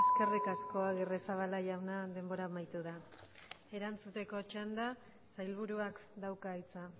eskerrik asko agirrezabala jauna denbora amaitu da erantzuteko txanda sailburuak dauka hitza